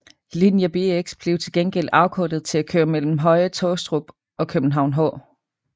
Linje Bx blev til gengæld afkortet til at køre mellem Høje Taastrup og København H